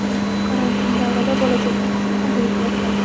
Karantin davrida bolajonlar uchun ajoyib loyiha.